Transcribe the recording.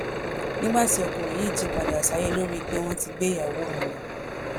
nígbà tí ọkùnrin yìí jí padà sáyé ló rí i pé wọn ti gbé ìyàwó òun lọ